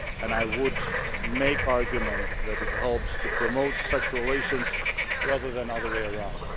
I would make the argument that it helps to promote such relations rather than the other way round.